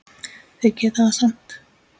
Þeir geta það samt.